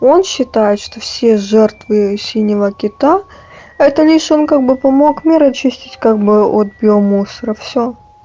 он считает что все жертвы синего кита это лишь он как бы помог мир очистить как бы вот от биомусора всё